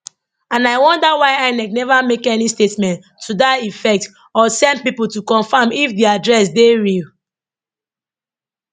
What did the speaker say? and i wonder why inec neva make any statement to dat effect or send pipo to confam if di address dey real